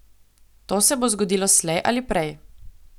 To se bo zgodilo slej ali prej.